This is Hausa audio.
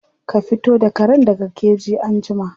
Ka fito da karen daga keji anjima.